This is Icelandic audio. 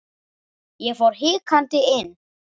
Ég fór hikandi inn.